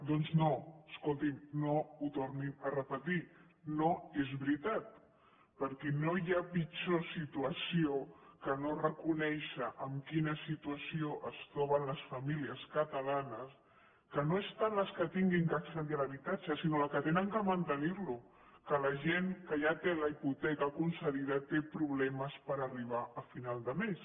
doncs no escolti’m no ho tornin a repetir no és veritat perquè no hi ha pitjor situació que no reconèixer en quina situació es troben les famílies catalanes que no es tant les que han d’accedir a l’habitatge sinó les que han de mantenir lo que la gent que ja té la hipoteca concedida té problemes per arribar a final de mes